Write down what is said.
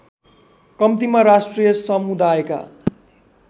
कम्तीमा राष्ट्रिय समुदायका